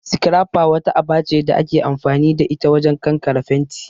'Scrapper'' wata aba ce da ake amfani da ita wajen kankare fenti